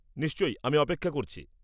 নিশ্চয়ই, আমি অপেক্ষা করছি।